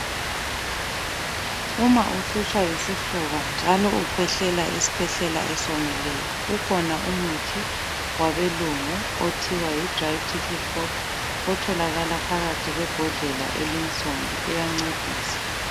Uma uhlutshwa yisifuba njalo ukhwehlela isikhwehlela esiwomileyo ukhona umuthi wabelungu okuthiwa yi DRY TICKLY COUGH otholakala phakathi kwebhodlela elinsundu uyancedisa.